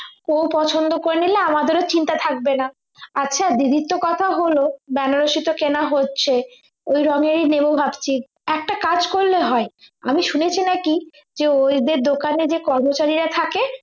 ও পছন্দ করে নিলে আমাদেরও চিন্তা থাকবে না আচ্ছা দিদির তো কথা হলো বেনারসি তো কেনা হচ্ছে ওই রঙ্গেরই নেব ভাবছি একটা কাজ করলে হয় আমি শুনেছি নাকি যে ওই যে দোকানে যে কর্মচারীরা থাকে